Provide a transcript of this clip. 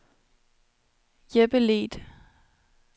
Jeppe Leth